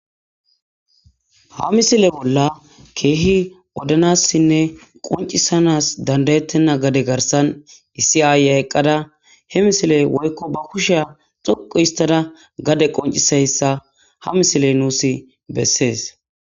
Ha missile bola kehi odanasinne qonc'isanas danda'etena gade garsan issi ayiya eqada he missile woyko ba kushiya xoqu histada gade qonc'isiyaysa ha missile nus beses.